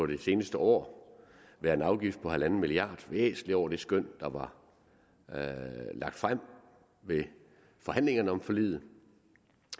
det seneste år være en afgift på en milliard væsentligt over det skøn der var lagt frem ved forhandlingerne om forliget